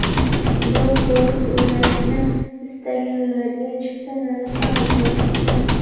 Guruh bo‘lib o‘ynashni istaganlarga chipta narxi arzonroq tushadi.